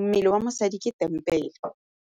mmele wa mosadi ke tempele.